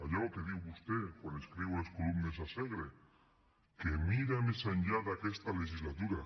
allò que diu vostè quan escriu les columnes a segre que mira més enllà d’aquesta legislatura